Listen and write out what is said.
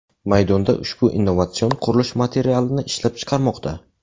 maydonda ushbu innovatsion qurilish materialini ishlab chiqarmoqda.